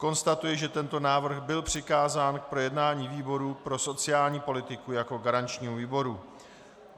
Konstatuji, že tento návrh byl přikázán k projednání výboru pro sociální politiku jako garančnímu výboru.